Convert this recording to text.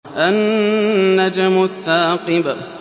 النَّجْمُ الثَّاقِبُ